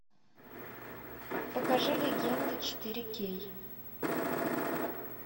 покажи легенды четыре кей